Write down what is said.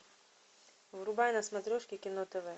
врубай на смотрешке кино тв